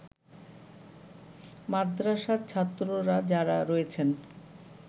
মাদ্রাসার ছাত্ররা যারা রয়েছেন